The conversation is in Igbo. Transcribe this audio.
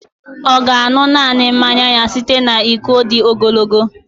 Ọ ga-aṅụ naanị mmanya ya site na iko dị ogologo